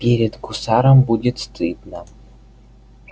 перед гусаром будет стыдно